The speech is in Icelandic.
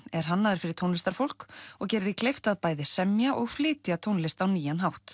er hannaður fyrir tónlistarfólk og gerir því kleift að bæði semja og flytja tónlist á nýjan hátt